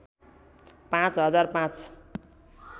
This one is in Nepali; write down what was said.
पाँच हजार ५